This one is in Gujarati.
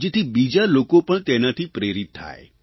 જેથી બીજા લોકો પણ તેનાથી પ્રેરિત થાય